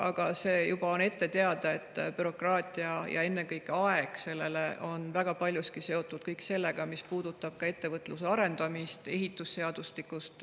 Aga on juba ette teada, et bürokraatia ja ennekõike sellele kuluv aeg on väga paljuski seotud sellega, mis puudutab ka ettevõtluse arendamist, ehitusseadustikku, kõike muud.